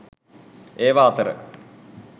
ඒවා අතර